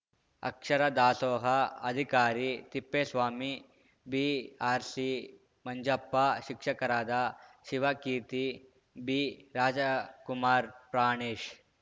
ಅಕ್ಷರ ದಾಸೋಹ ಅಧಿಕಾರಿ ತಿಪ್ಪೇಸ್ವಾಮಿ ಬಿಆರ್‌ಸಿ ಮಂಜಪ್ಪ ಶಿಕ್ಷಕರಾದ ಶಿವಕೀರ್ತಿ ಬಿರಾಜಕುಮಾರ್‌ ಪ್ರಾಣೇಶ್‌